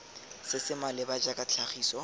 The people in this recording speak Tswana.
se se maleba jaaka tlhagiso